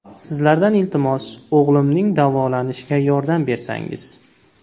Sizlardan, iltimos, o‘g‘limning davolanishiga yordam bersangiz.